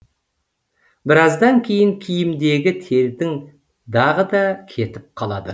біраздан кейін киімдегі тердің дағы да кетіп қалады